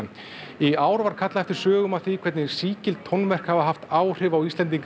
í ár var kallað eftir sögum af því hvernig sígild tónverk hafa haft áhrif á Íslendinga